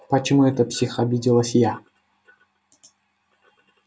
почему это псих обиделась я